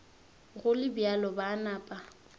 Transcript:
go le bjalo ba napa